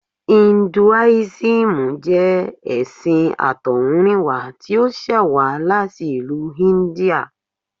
Induísímù jẹ́ ẹṣin àtọ̀húnrìnwá tí ó ṣẹ̀ wá láti ìlú India